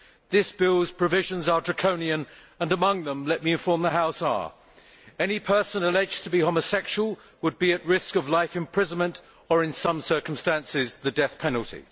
This bill's provisions are draconian and among them, let me inform the House, are any person alleged to be homosexual would be at risk of life imprisonment or in some circumstances the death penalty